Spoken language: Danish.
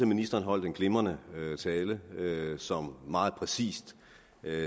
ministeren holdt en glimrende tale som meget præcist